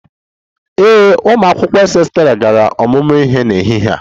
Ee, ụmụ akwụkwọ Ss3 gara ọmụmụ ihe n'ehihie a